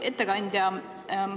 Hea ettekandja!